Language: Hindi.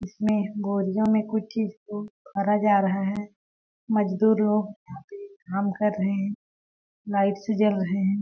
इसमें बोरियों में कुछ चीज को भरा जा रहा है मजदूर लोग काम कर रहे हैं लाइट्स जल रहे हैं।